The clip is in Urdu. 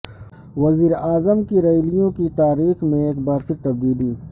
وزیرا عظم کی ریالیوں کی تاریخ میں ایک بار پھر تبدیلی